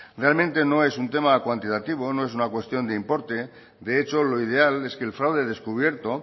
realmente no es un tema cuantitativo no es una cuestión de importe de hecho lo ideal es que el fraude descubierto